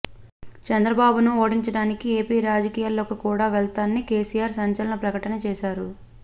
చంద్రబాబును ఓడించడానికి ఏపీ రాజకీయాల్లోకి కూడా వెళ్తానని కెసిఆర్ సంచలన ప్రకటన చేశారు